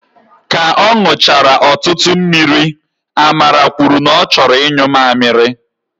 Ka ọ nụchara ọtụtụ mmiri, Amara kwuru na ọ chọrọ inyu mamịrị